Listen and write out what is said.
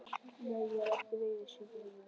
Nei, ég er þér ekki reiður Sigríður.